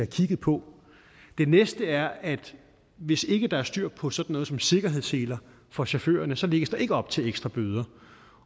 kigget på det næste er at hvis ikke der er styr på sådan noget som sikkerhedsseler for chaufførerne så lægges der ikke op til ekstra bøder